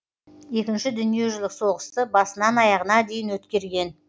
екінші дүниежүзілік соғысты басынан аяғына дейін өткерген